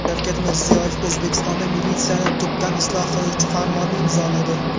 Shavkat Mirziyoyev O‘zbekistonda militsiyani tubdan isloh qiluvchi farmonni imzoladi.